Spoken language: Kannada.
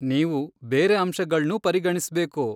ನೀವು ಬೇರೆ ಅಂಶಗಳ್ನೂ ಪರಿಗಣಿಸ್ಬೇಕು.